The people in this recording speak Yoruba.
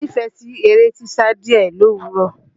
Mo nífẹ̀ẹ́ sí eré sísá díẹ̀ lówùrọ̀.